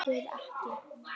Aðrir ekki.